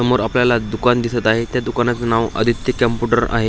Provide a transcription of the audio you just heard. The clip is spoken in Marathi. समोर आपल्याला दुकान दिसत आहे त्या दुकानाच नाव आदित्य कॉम्प्युटर आहे.